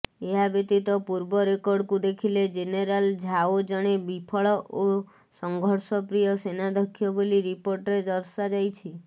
ଏହାବ୍ୟତୀତ ପୂର୍ବ ରେକର୍ଡକୁ ଦେଖିଲେ ଜେନେରାଲ ଝାଓ ଜଣେ ବିଫଳ ଓ ସଂଘର୍ଷପ୍ରିୟ ସେନାଧ୍ୟକ୍ଷ ବୋଲି ରିପୋର୍ଟରେ ଦର୍ଶାଯାଇଛି